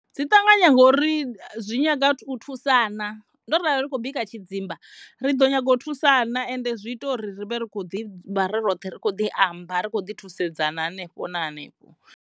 Dzi ṱanganya ngori dzi nyaga u thusana ndo rali ndi tshi khou bika tshidzimba ri ḓo nyaga u thusana ende zwi ita uri ri vhe ri kho ḓi vha ri roṱhe ri kho ḓi amba ri kho ḓi thusedzana hanefho na hanefho.